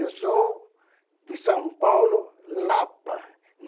Eu sou de São Paulo, Lapa.